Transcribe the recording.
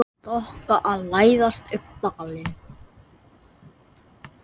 Þoka að læðast upp dalinn.